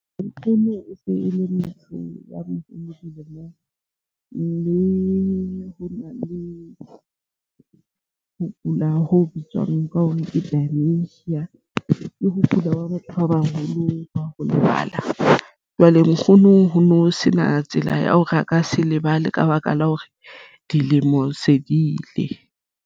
Nkgono e se e le motho a moholo dilemong le ho na le ho kula ho bitswang ka hore ke dementia ke ho kula hwa batho ba baholo ba ho lebala. Jwale nkgono ho no sena tsela ya hore a ka se lebale ka baka la hore dilemo se di ile.